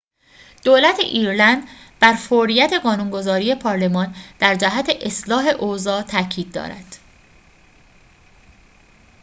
دولت ایرلند بر فوریت قانون‌گذاری پارلمان در جهت اصلاح اوضاع تأکید دارد